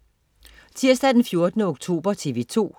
Tirsdag den 14. oktober - TV 2: